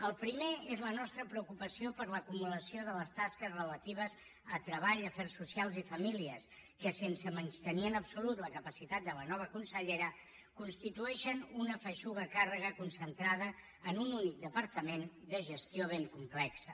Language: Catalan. el primer és la nostra preocupació per l’acumulació de les tasques relatives a treball afers socials i famílies que sense menystenir en absolut la capacitat de la nova consellera constitueixen una feixuga càrrega concentrada en un únic departament de gestió ben complexa